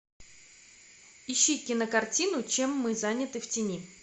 ищи кинокартину чем мы заняты в тени